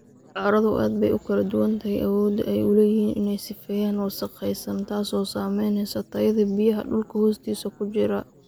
Carradu aad bay ugu kala duwan tahay awoodda ay u leeyihiin inay sifeeyaan wasakhaysan, taasoo saamaynaysa tayada biyaha dhulka hoostiisa ku jira.